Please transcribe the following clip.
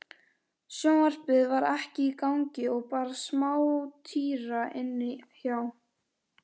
Sjónvarpið var ekki í gangi og bara smátíra inni hjá